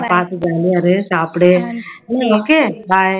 பாத்து jolly ஆ இரு, சாப்புடு okay bye